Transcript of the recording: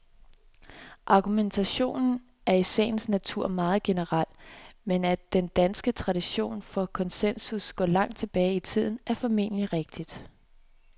Argumentationen er i sagens natur meget generel, men at den danske tradition for konsensus går langt tilbage i tiden, er formentlig rigtigt.